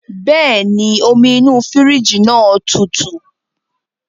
Bẹ́ẹ̀ni, omi inú fírìjì náà tutù